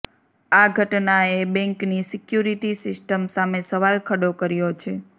આ ઘટનાએ બેંકની સિક્યુરીટી સિસ્ટમ સામે સવાલ ખડો કર્યો છે